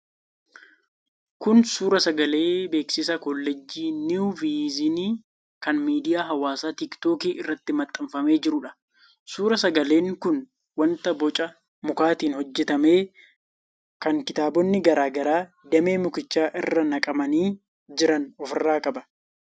Kun suur-sagalee beeksisa Kolleejjii Niw Viizyinii kan miidiyaa hawaasaa tiiktookii irratti maxxanfamee jiruudha. Suur-sagaleen kun wanta boca mukaatiin hojjetame kan kitaabonni garaa garaa damee mukichaa irra naqamanii jiran ofirraa qaba.